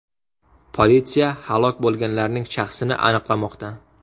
Politsiya halok bo‘lganlarning shaxsini aniqlamoqda.